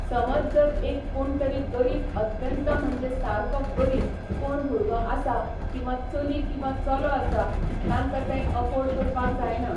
समज जर एक कोण तरी गरीब अत्यंत म्हणजे सारको गरीब कोण भुरगो आसा किंवा चली किंवा चलो आसा, तांकां ते अफोर्ड करपाक जायना.